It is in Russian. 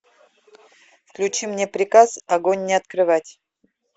включи мне приказ огонь не открывать